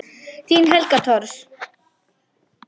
Þín Helga Thors.